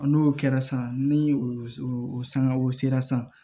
N'o kɛra san ni o sangaw sera san